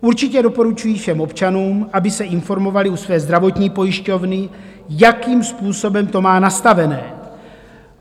Určitě doporučuji všem občanům, aby se informovali u své zdravotní pojišťovny, jakým způsobem to má nastaveno.